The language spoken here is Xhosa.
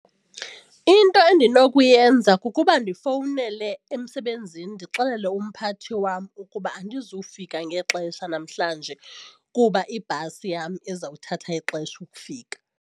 Into endinokuyenza kukuba ndifowunele emsebenzini ndixelele umphathi wam ukuba andizufika ngexesha namhlanje kuba ibhasi yam izawuthatha ixesha ukufika.